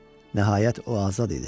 Nəhayət o azad idi.